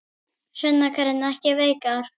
Sunna Karen: Ekki veikar?